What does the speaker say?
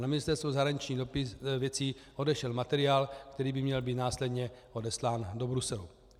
Na Ministerstvo zahraničních věcí odešel materiál, který by měl být následně odeslán do Bruselu.